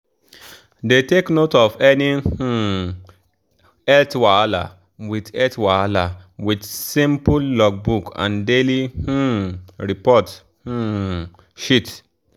dey take note of any um health wahala with health wahala with simple logbook and daily um report um sheet.